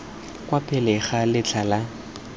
kwa pele ga letlha la